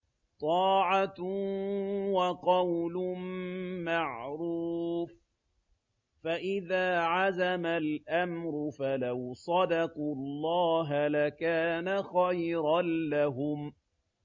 طَاعَةٌ وَقَوْلٌ مَّعْرُوفٌ ۚ فَإِذَا عَزَمَ الْأَمْرُ فَلَوْ صَدَقُوا اللَّهَ لَكَانَ خَيْرًا لَّهُمْ